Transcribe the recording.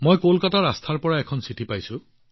মই কলকাতাৰ পৰা আস্থাজীৰ পৰা এখন চিঠি পাইছো